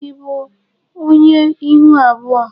Ị bụ onye ihu abụọ?